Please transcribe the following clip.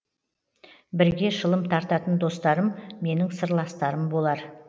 бірге шылым тартатын достарым менің сырластарым болар